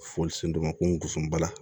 Foli sen dɔ ma ko n gosi bala